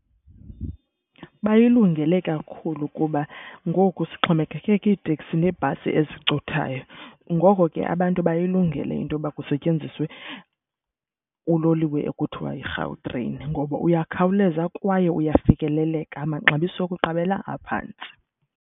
Bayilungele kakhulu kuba ngoku sixhomekeke kwiiitekisi neebhasi ezicothayo. Ngoko ke abantu bayilungele into yoba kusetyenziswe uloliwe ekuthiwa yiGautrain ngoba uyakhawuleza kwaye uyafikeleleka, amaxabiso okuqabela aphantsi.